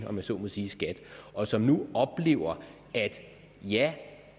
om jeg så må sige og som nu oplever at ja